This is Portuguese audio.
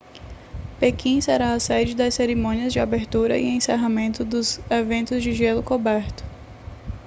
pequim será a sede das cerimônias de abertura e encerramento e dos eventos de gelo coberto